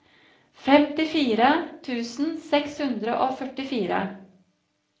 femtifire tusen seks hundre og førtifire